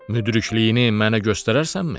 Müdrikliyini mənə göstərərsənmi?